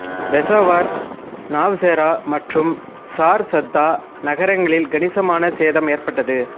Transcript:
பெசாவர் நவ்செரா மற்றும் சார்சாத்தா நகரங்களில் கணிசமான சேதம் ஏற்பட்டது